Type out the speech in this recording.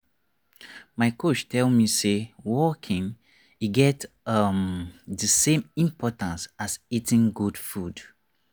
my coach tell me say walking e get um the same importance as eating good food.